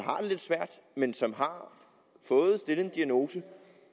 lidt svært men som har fået stillet en diagnose